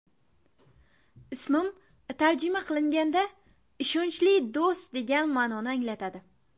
Ismim tarjima qilinganda ‘ishonchli do‘st’ degan ma’noni anglatadi.